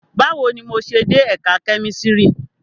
Bawo ni mo ṣe de Ẹka Kemistri?